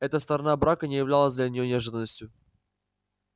эта сторона брака не являлась для нее неожиданностью